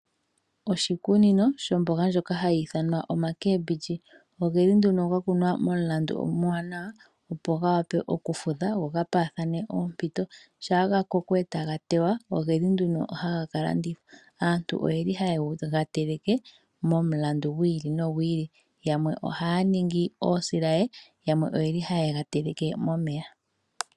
Oshikunino shomboga ndjoka hayi ithanwa omacabbage ogeli nduno ga kunwa momulandu omuwanawa opo ga wape oku fudha go ga paathane ompito shaa ga koko etaga tewa ogeli nduno haga ka landithwa, aantu oyeli haye ga teleke momulandu gu ili nogu ili, yamwe ohaya ningi oosilaye, yamwe oyeli haye ga teleke momeya